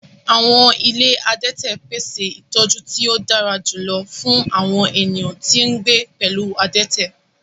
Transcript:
Awọn ile adẹtẹ pese itọju ti o dara julọ fun awọn eniyan ti n gbe pẹlu adẹtẹ